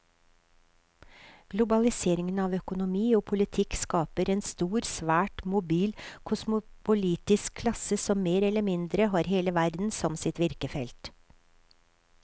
Globaliseringen av økonomi og politikk skaper en stor, svært mobil kosmopolitisk klasse som mer eller mindre har hele verden som sitt virkefelt.